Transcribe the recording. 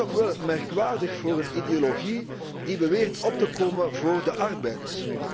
En dat is toch wel merkwaardig voor een ideologie die beweert op te komen voor de arbeiders.